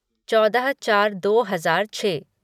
चौदह चार दो हजार छः